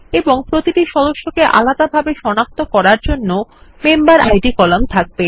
এবং প্রতিটি সদস্যকে আলাদাভাবে সনাক্ত করার জন্য মেম্বেরিড কলাম থাকবে